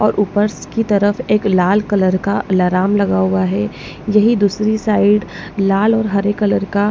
और ऊपर की तरफ एक लाल कलर का अलार्म लगा हुआ है यही दूसरी साइड लाल और हरे कलर का --